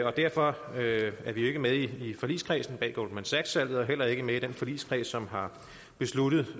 og derfor er vi ikke med i forligskredsen bag goldman sachs salget og heller ikke med i den forligskreds som har besluttet